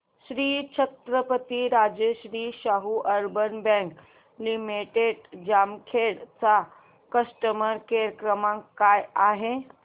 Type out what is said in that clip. Shri Chhatrapati Rajshri Shahu urban bank limited Jamkhed चा customer care क्रमांक काय आहे